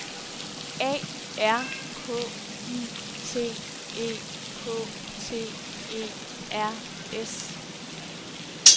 A R K I T E K T E R S